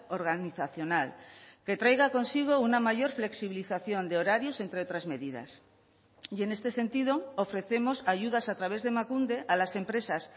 organizacional que traiga consigo una mayor flexibilización de horarios entre otras medidas y en este sentido ofrecemos ayudas a través de emakunde a las empresas